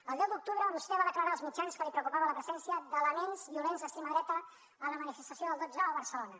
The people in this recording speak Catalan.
el deu d’octubre vostè va declarar als mitjans que li preocupava la presència d’elements violents d’extrema dreta a la manifestació del dotze o a barcelona